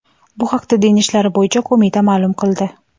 Bu haqda Din ishlari bo‘yicha qo‘mita ma’lum qildi .